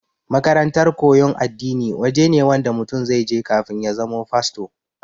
makarantar koyan addini waje ne Wanda mutum zaije kafin ya zama fasto